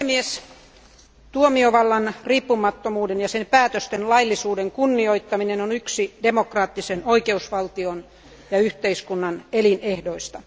Arvoisa puhemies, tuomiovallan riippumattomuuden ja sen päätösten laillisuuden kunnioittaminen on yksi demokraattisen oikeusvaltion ja yhteiskunnan elinehdoista.